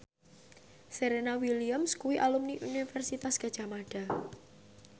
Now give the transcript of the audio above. Serena Williams kuwi alumni Universitas Gadjah Mada